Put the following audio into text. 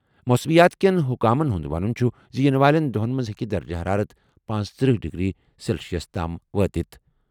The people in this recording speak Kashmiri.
موسمیات کٮ۪ن حکامَن ہُنٛد ونُن چھُ زِ یِنہٕ والٮ۪ن دۄہَن منٛز ہٮ۪کہِ درجہٕ حرارت پنژتٔرہ ڈگری سیلسیس تام وٲتِتھ۔